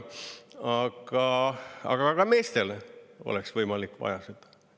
Aga ka meestel oleks võimalik vaja seda.